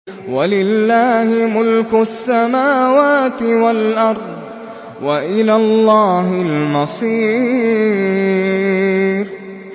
وَلِلَّهِ مُلْكُ السَّمَاوَاتِ وَالْأَرْضِ ۖ وَإِلَى اللَّهِ الْمَصِيرُ